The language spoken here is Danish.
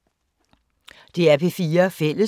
DR P4 Fælles